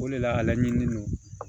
O de la ale ɲinilen don